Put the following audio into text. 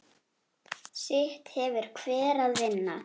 Sitt hefur hver að vinna.